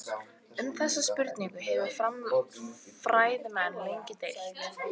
Um þessar spurningar hafa fræðimenn lengi deilt.